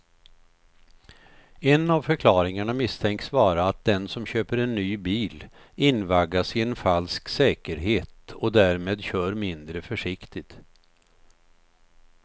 En av förklaringarna misstänks vara att den som köper en ny bil invaggas i en falsk säkerhet och därmed kör mindre försiktigt.